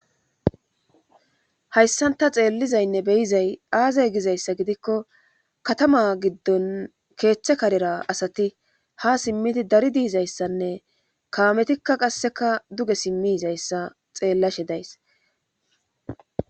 Hayssanta xeellizaynne beyizay aazay gizayssa gidikko katama giddon keeththe karera asati ha simmidi dari diizayssanne kaametikka qasseka duge simmiizayssa xeellashe days.